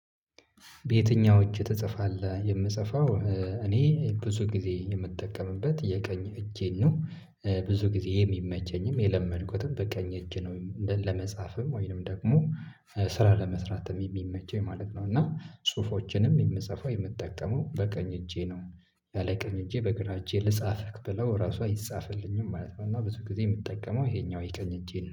በየትኛው እጅ ትጽፋለህ? የምጽፈው እኔ ብዙ ጊዜ የምጠቀምበት የቀኝ እጄን ነው። ብዙ ጊዜ የሚመቸኝም የለመድኩትም በቀኝ እጄ ነው። ለመጻፍም ወይንም ደግሞ ስራ ለመስራት የሚመቸኝ የማለት ነው። እና ጽሁፎችንም የምጽፈው የምጠቀመው በቀኝ እጄ ነው። ያለ ቀኝ እጄ በግራ እጄ ልጻፍህ ብለው ራሷ አይጻፍልኝም ማለት ነው። እና ብዙ ጊዜ የምትጠቀመው ይሄኛው የቀኝ እጄ ነው